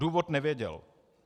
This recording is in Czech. Důvod nevěděl.